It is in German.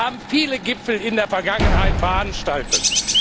Wir haben viele Gipfel in der Vergangenheit veranstaltet.